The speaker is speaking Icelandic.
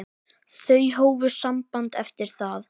Þau hófu samband eftir það.